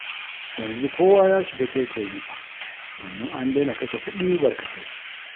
Yanzu kowa ya shiga taitayinsa, domin an daina kashe kuɗi barkatai.